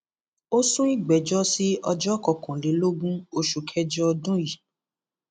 ó sún ìgbẹjọ sí ọjọ kọkànlélógún oṣù kẹjọ ọdún yìí